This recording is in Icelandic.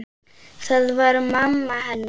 Það var mamma hennar.